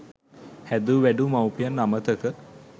හැදූ වැඩූ මවුපියන් අමතක